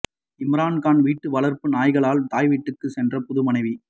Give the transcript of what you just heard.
இம்ரான் கான் வீட்டு வளர்ப்பு நாய்களால் தாய்வீட்டுக்கு சென்ற புது மனைவி